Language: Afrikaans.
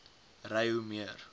ry hoe meer